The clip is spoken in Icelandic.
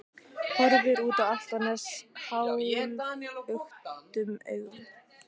Horfir út á Álftanes hálfluktum augum.